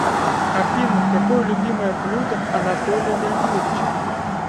афина какое любимое блюдо анатолия леонидовича